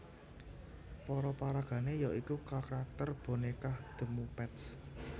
Para paragané ya iku karakter bonékah The Muppets